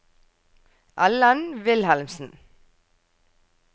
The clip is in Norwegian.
Ellen Wilhelmsen